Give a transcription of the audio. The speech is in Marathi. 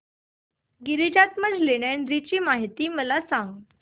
गिरिजात्मज लेण्याद्री ची मला माहिती सांग